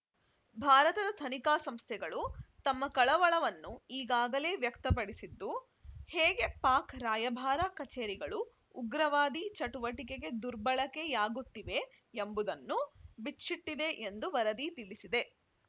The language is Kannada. ಭಾರತದ ತನಿಖಾ ಸಂಸ್ಥೆಗಳು ತಮ್ಮ ಕಳವಳವನ್ನು ಈಗಾಗಲೇ ವ್ಯಕ್ತಪಡಿಸಿದ್ದು ಹೇಗೆ ಪಾಕ್‌ ರಾಯಭಾರ ಕಚೇರಿಗಳು ಉಗ್ರವಾದಿ ಚಟುವಟಿಕೆಗೆ ದುರ್ಬಳಕೆಯಾಗುತ್ತಿವೆ ಎಂಬುದನ್ನು ಬಿಚ್ಚಿಟ್ಟಿದೆ ಎಂದು ವರದಿ ತಿಳಿಸಿದೆ